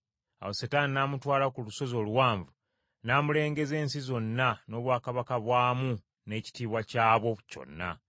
Ate Setaani n’amutwala ku lusozi oluwanvu n’amulengeza ensi zonna n’obwakabaka bwamu n’ekitiibwa kyabwo kyonna,